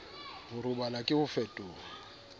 ho robala ke ho fetoha